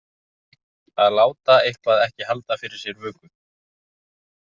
Að láta eitthvað ekki halda fyrir sér vöku